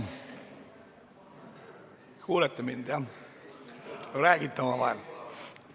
Kas te kuulete mind või räägite omavahel?